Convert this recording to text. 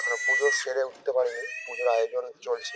এখনও পুজো সেরে উঠতে পারেনি । পুজোর আয়োজন চলছে ।